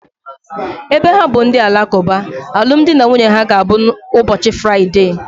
Ebe ha bụ ndị Alakuba, alụmdi na nwunye ha ga abụ ụbọchị Fraịdee